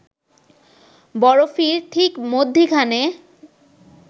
বরফির ঠিক মধ্যিখানে